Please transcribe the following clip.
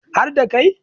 har da Kai